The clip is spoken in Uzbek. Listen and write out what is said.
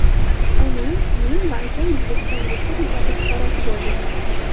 Onam, men va akam O‘zbekiston Respublikasi fuqarosi bo‘ldik”.